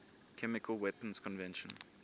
chemical weapons convention